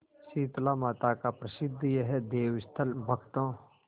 शीतलामाता का प्रसिद्ध यह देवस्थल भक्तों